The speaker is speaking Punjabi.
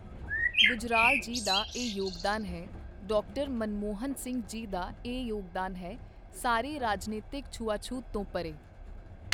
ਗੁਜਰਾਲ ਜੀ ਦਾ ਇਹ ਯੋਗਦਾਨ ਹੈ, ਡਾਕਟਰ ਮਨਮੋਹਨ ਸਿੰਘ ਜੀ ਦਾ ਇਹ ਯੋਗਦਾਨ ਹੈ, ਸਾਰੇ ਰਾਜਨੀਤਕ ਛੂਆਛੂਤ ਤੋਂ ਪਰੇ।